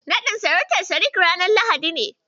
Naɗin sarautar Sadik ranar Lahadi ne.